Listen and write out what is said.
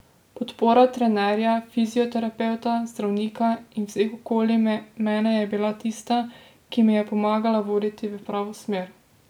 Podpora trenerja, fizioterapevta, zdravnika in vseh okoli mene je bila tista, ki me je pomagala voditi v pravo smer.